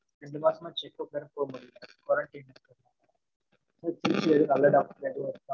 ரெண்டு மாசமா check up வேற போக முடியலை, quarantine இருக்கு. திருச்சில எதும் நல்ல doctor எதுவும்